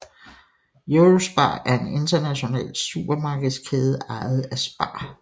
Eurospar er en international supermarkedskæde ejet af SPAR